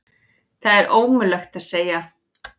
Það er ómögulegt að segja.